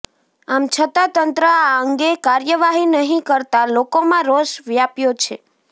આમ છતા તંત્ર આ અંગે કાર્યવાહી નહીં કરતા લોકોમાં રોષ વ્યાપ્યો છે